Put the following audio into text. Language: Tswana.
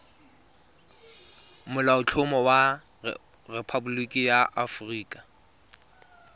molaotlhomo wa rephaboliki ya aforika